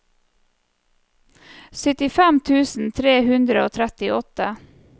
syttifem tusen tre hundre og trettiåtte